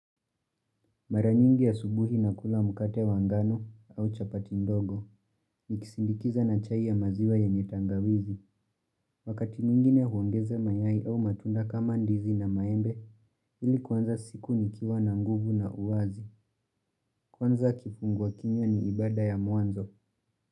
Maranyingi asubuhi nakula mkate wa ngano au chapati ndogo, nikisindikiza na chai ya maziwa ya nyeye tangawizi, wakati mwingine huongeze mayai au matunda kama ndizi na maembe, hili kwanza siku ni kiwa na nguvu na uwazi, kwanza kifungua kinywa ni ibada ya mwanzo.